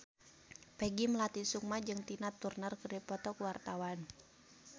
Peggy Melati Sukma jeung Tina Turner keur dipoto ku wartawan